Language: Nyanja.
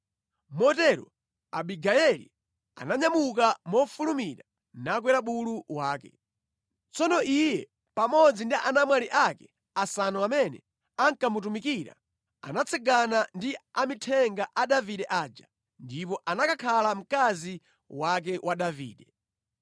Motero Abigayeli ananyamuka mofulumira nakwera bulu wake. Tsono iye pamodzi ndi anamwali ake asanu amene ankamutumikira, anatsagana ndi amithenga a Davide aja ndipo anakakhala mkazi wake wa Davide.